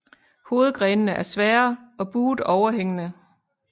Hovedgrenene er svære og buet overhængende